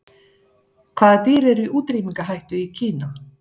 Hvaða dýr eru í útrýmingarhættu í Kína?